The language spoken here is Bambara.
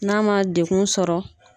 Na ma dekun sɔrɔ.